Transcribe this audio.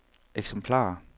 eksemplarer